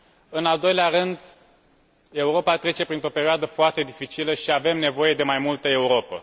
În al doilea rând, Europa trece printr o perioadă foarte dificilă și avem nevoie de mai multă Europă.